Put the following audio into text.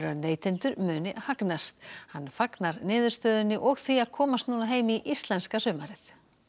að neytendur muni hagnast hann fagnar niðurstöðunni og því að komast núna heim í íslenska sumarið